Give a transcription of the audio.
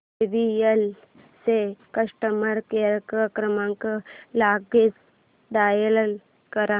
JBL चा customer care क्रमांक लगेच डायल कर